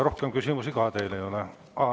Rohkem küsimusi teile ei ole.